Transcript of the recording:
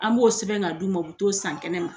An b'o sɛbɛn ka d'u ma, u bɛ t'o san kɛnɛ ma.